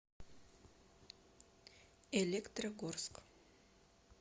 электрогорск